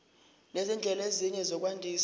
nezindlela ezinye zokwandisa